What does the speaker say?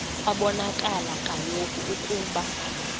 kwabonakala kaloku ukuba